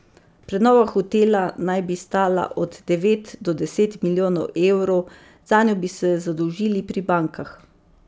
Prenova hotela naj bi stala od devet do deset milijonov evrov, zanjo bi se zadolžil pri bankah.